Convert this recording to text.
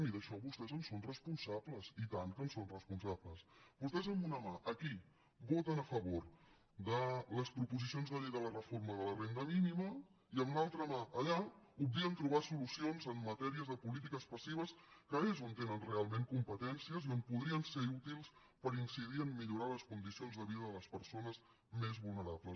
i vostès d’això en són responsables i tant que en són responsables vostès amb una mà aquí voten a favor de les proposicions de llei de la reforma de la renda mínima i amb l’altra mà allà obvien trobar solucions en matèries de polítiques passives que és on tenen realment competències i on podrien ser útils per incidir en millorar les condicions de vida de les persones més vulnerables